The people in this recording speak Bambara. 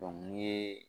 ni ye